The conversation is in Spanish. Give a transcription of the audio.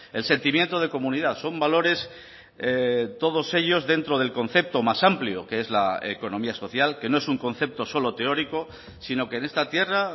el sentimiento de comunidad son valores todos ellos dentro del concepto más amplio que es la economía social que no es un concepto solo teórico sino que en esta tierra